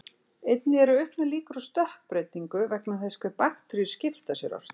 Einnig eru auknar líkur á stökkbreytingu vegna þess hve bakteríur skipta sér ört.